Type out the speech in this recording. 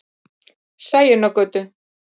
Sæunnargötu